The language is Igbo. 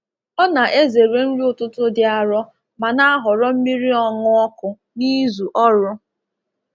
Ọ na-ezere nri ụtụtụ dị arọ ma na-ahọrọ mmiri ọṅụ ọkụ n’izu ọrụ.